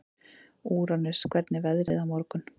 Úranus, hvernig er veðrið á morgun?